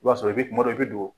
I b'a sɔrɔ kuma dɔ i bɛ don